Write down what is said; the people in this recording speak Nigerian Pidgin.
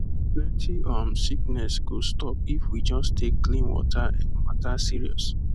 plenty um sickness go stop if we just take clean water um matter serious